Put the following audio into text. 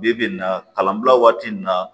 Bi bi in na kalanbila waati min na